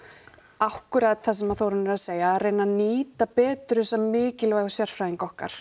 akkúrat það sem Þórunn er að segja að reyna að nýta betur þessa mikilvægu sérfræðinga okkar